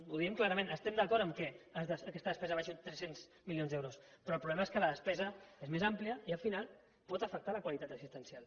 ho diem clarament estem d’acord que aquesta despesa baixi uns tres cents milions d’euros però el problema és que la despesa és més àmplia i al final pot afectar la qualitat assistencial